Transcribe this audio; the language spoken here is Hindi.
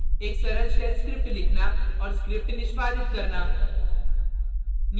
एक सरल shell script लिखना और script निष्पादित करना